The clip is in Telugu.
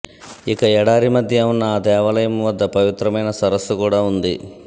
ఇక ఎడారి మధ్య ఉన్న ఆ దేవాలయం వద్ద పవిత్రమైన సరస్సు కూడా ఉంది